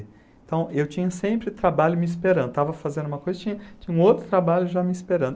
Então, eu tinha sempre trabalho me esperando, estava fazendo uma coisa, tinha tinha um outro trabalho já me esperando.